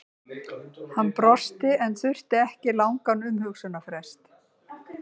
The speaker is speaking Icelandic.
Hann brosti en þurfti ekki langan umhugsunarfrest.